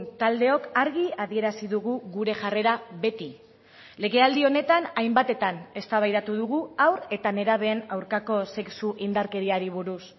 taldeok argi adierazi dugu gure jarrera beti legealdi honetan hainbatetan eztabaidatu dugu haur eta nerabeen aurkako sexu indarkeriari buruz